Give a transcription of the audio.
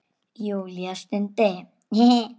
Júlía stundi.